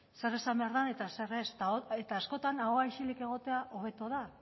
zer esan behar den eta zer ez eta askotan ahoa isilik egotea hobeto da